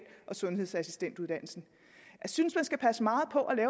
og sundhedsassistentuddannelsen jeg synes man skal passe meget på